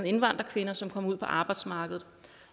indvandrerkvinder som kommer ud på arbejdsmarkedet